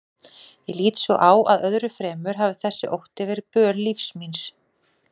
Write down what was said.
Ég lít svo á að öðru fremur hafi þessi ótti verið böl lífs míns.